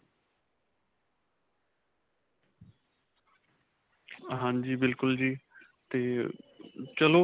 ਹਾਂਜੀ. ਬਿਲਕੁਲ ਜੀ 'ਤੇ ਚਲੋ.